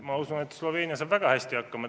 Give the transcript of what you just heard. Ma usun, et Sloveenia saab väga hästi hakkama.